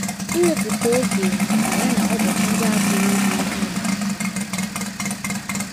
Iwepụta oge maka ya n’ụbọchị ndị a pụrụ ịbụ ihe ịma aka.